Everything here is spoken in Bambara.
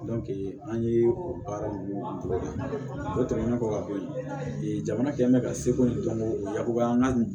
an ye o baara ninnu kɛ o tɛmɛnen kɔ ka bɔ yen jamana kɛlen bɛ ka seko dɔnko yakubaya an ka